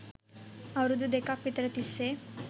අවුරුදු දෙකක් විතර තිස්සේ